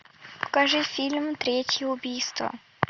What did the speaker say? покажи фильм третье убийство